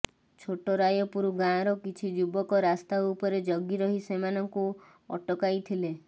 ଛୋଟରାୟପୁର ଗାଁର କିଛି ଯୁବକ ରାସ୍ତାଉପରେ ଜଗିରହି ସେମାନଙ୍କୁ ଆଟକାଇଥିଲେ